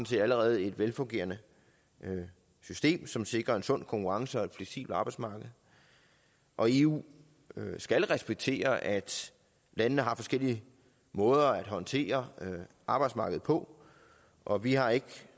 set allerede et velfungerende system som sikrer en sund konkurrence og et fleksibelt arbejdsmarked og eu skal respektere at landene har forskellige måder at håndtere arbejdsmarkedet på og vi har ikke